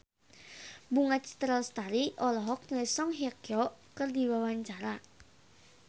Bunga Citra Lestari olohok ningali Song Hye Kyo keur diwawancara